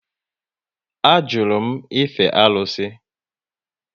A jụrụ m ife arụsị